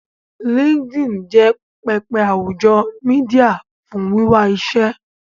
linkedin jé pẹpẹ àwùjọ media fún wiwà iṣé.